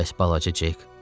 Bəs balaca Cek?